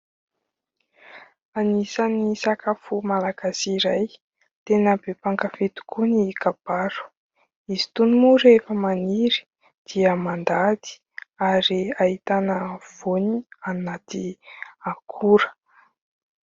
Anisan'ny sakafo malagasy iray tena be mpankafy tokoa ny kabaro. Izy itony moa rehefa maniry dia mandady ary ahitana voany anaty akora.